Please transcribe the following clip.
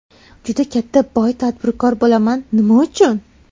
Juda katta boy tadbirkor bo‘laman... Nima uchun?